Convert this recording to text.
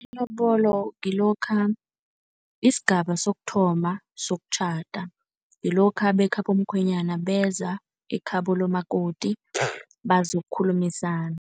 Ilobolo ngilokha, yisigaba sokuthoma sokutjhada. Ngilokha bekhabo mkhwenyana beza ekhabo likamakoti bazokukhulumisana.